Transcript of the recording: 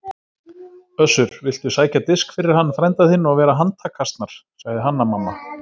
Össur, viltu sækja disk fyrir hann frænda þinn og vera handtakasnar, sagði Hanna-Mamma.